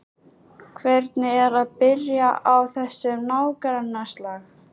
Hvernig er að byrja á þessum nágrannaslag?